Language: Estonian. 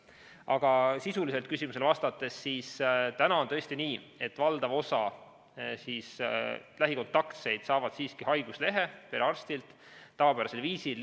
Aga sisuliselt küsimusele vastates: praegu on tõesti nii, et valdav osa lähikontaktseid saab siiski haiguslehe perearstilt tavapärasel viisil.